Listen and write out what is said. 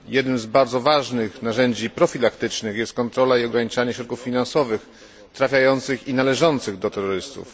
Jednym z bardzo ważnych narzędzi profilaktycznych jest kontrola i ograniczanie środków finansowych trafiających i należących do terrorystów.